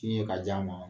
Tiɲa ka ja ma